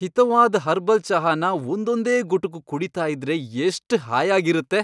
ಹಿತವಾದ್ herbal ಚಹಾನ ಒಂದೊಂದೇ ಗುಟುಕು ಕುಡೀತಾ ಇದ್ರೆ ಎಷ್ಟ್ ಹಾಯಾಗಿರತ್ತೆ.